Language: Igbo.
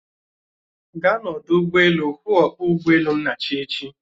Gaa n'odu ụgbọelu hụụ ọkpọ ụgbọelu Nnachi echi!